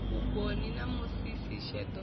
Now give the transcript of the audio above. vhugoni na musisi sheḓo ḽone